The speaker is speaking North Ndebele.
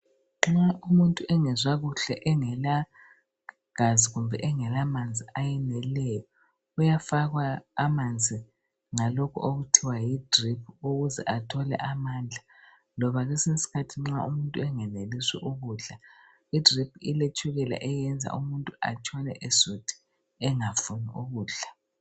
Nxa umuntu engezwa kuhle engelagazi kumbe engelamanzi ayeneleyo uyafakwa amanzi ngalokhu okuthiwa yidrip ukuze athole amandla loba kwesinye iskhathi nxa umuntu engenelisi ukudla idrip iletshukela eliyenza umuntu atshone esuthi engafuni ukudla.